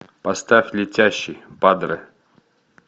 поставь летящий падре